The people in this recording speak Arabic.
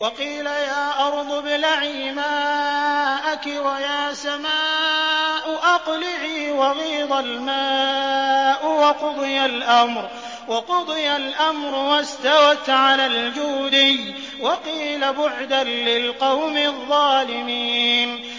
وَقِيلَ يَا أَرْضُ ابْلَعِي مَاءَكِ وَيَا سَمَاءُ أَقْلِعِي وَغِيضَ الْمَاءُ وَقُضِيَ الْأَمْرُ وَاسْتَوَتْ عَلَى الْجُودِيِّ ۖ وَقِيلَ بُعْدًا لِّلْقَوْمِ الظَّالِمِينَ